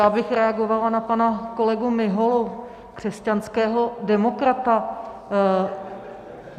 Já bych reagovala na pana kolegu Miholu, křesťanského demokrata.